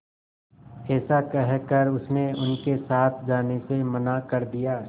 ऐसा कहकर उसने उनके साथ जाने से मना कर दिया